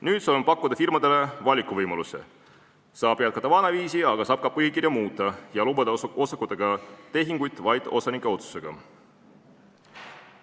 Nüüd saame pakkuda firmadele valikuvõimaluse: saab jätkata vanaviisi, aga saab ka põhikirja muuta ja lubada osakutega tehinguid vaid osanike otsusega.